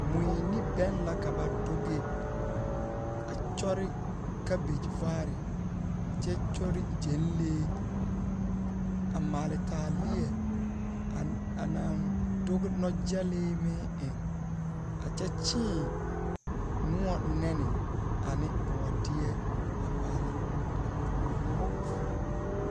Mui ne bɛn la ka ba doge, a kyɔre kabege vaare kyɛ kyɔre gyɛnlee, a maale taaleɛ anaŋ doge nɔgyɛlee meŋ eŋ a kyɛ kyeeŋ noɔ nɛne ane bɔɔdeɛ a paale a poɔ. 13404